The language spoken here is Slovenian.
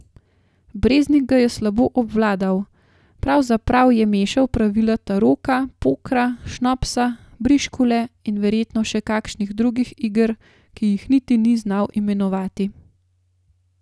Breznik ga je slabo obvladal, pravzaprav je mešal pravila taroka, pokra, šnopsa, briškule in verjetno še kakšnih drugih iger, ki jih niti ni znal imenovati.